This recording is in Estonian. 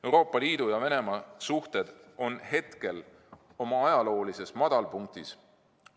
Euroopa Liidu ja Venemaa suhted on hetkel oma ajaloolises madalpunktis.